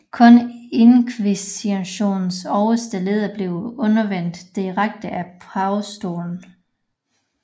Kun inkvisitionens øverste leder blev udnævnt direkte af pavestolen